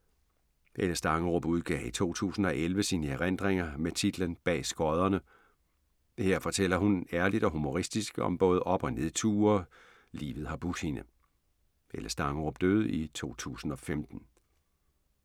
Helle Stangerup udgav i 2011 sine erindringer med titlen Bag skodderne. Her fortæller hun ærligt og humoristisk om både op- og nedture, livet har budt hende. Helle Stangerup døde i 2015.